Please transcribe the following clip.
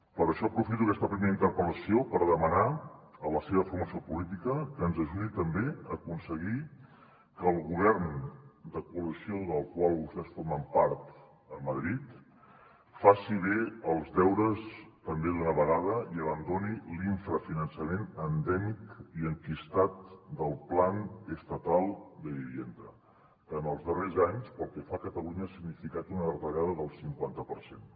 per això aprofito aquesta primera interpel·lació per demanar a la seva formació política que ens ajudi també a aconseguir que el govern de coalició del qual vostès formen part a madrid faci bé els deures també d’una vegada i abandoni l’infrafinançament endèmic i enquistat del plan estatal de vivienda que en els darrers anys pel que fa a catalunya ha significat una retallada del cinquanta per cent